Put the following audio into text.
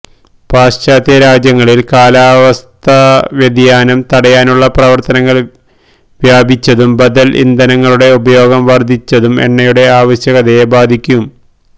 പാശ്ചാത്യരാജ്യങ്ങളിൽ കാലാവസ്ഥാവ്യതിയാനം തടയാനുള്ള പ്രവർത്തനങ്ങൾ വ്യാപിച്ചതും ബദൽ ഇന്ധനങ്ങളുടെ ഉപയോഗം വർധിച്ചതും എണ്ണയുടെ ആവശ്യകതയെ ബാധിക്കും